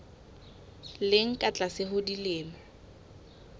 leng ka tlase ho dilemo